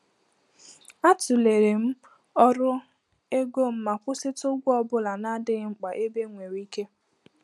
A tụlere m ọrụ ego m ma kwụsịtụ ụgwọ ọ bụla na-adịghị mkpa ebe enwere ike.